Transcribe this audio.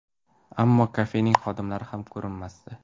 Ammo kafening xodimlari ham ko‘rinmasdi.